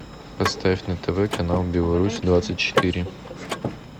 поставь на тв канал беларусь двадцать четыре